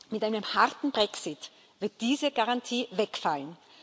Mit einem harten Brexit wird diese Garantie wegfallen.